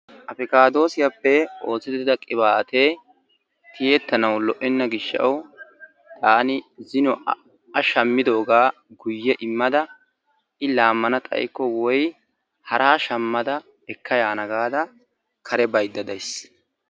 Afikaadoosiyappe oosetida qibaatee tiyettanawu lo'enna gishawu taani zino A shammidoogaa guye immada i laamana xayikko woyi haraa shamada ekayaana gaada kare baydda days.